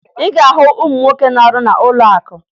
Ị ga-ahụ ụmụ nwoke na-arụ n'ụlọakụ